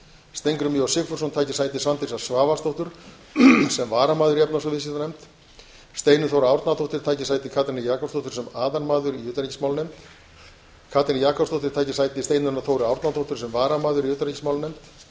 steingrímur j sigfússon taki sæti svandísar svavarsdóttur sem varamaður í efnahags og viðskiptanefnd steinunn þóra árnadóttir taki sæti katrínar jakobsdóttur sem aðalmaður í utanríkismálanefnd katrín jakobsdóttir taki sæti steinunnar þóru árnadóttur sem varamaður í utanríkismálanefnd